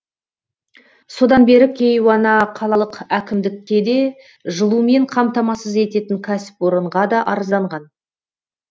содан бері кейуана қалалық әкімдікке де жылумен қамтамасыз ететін кәсіпорынға да арызданған